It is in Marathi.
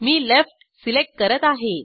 मी लेफ्ट सिलेक्ट करत आहे